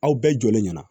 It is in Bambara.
Aw bɛɛ jɔlen ɲɛna